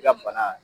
I ka bana